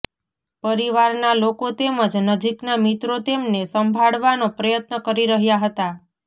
પરિવારના લોકો તેમજ નજીકના મિત્રો તેમને સંભાળવાનો પ્રયત્ન કરી રહ્યા હતા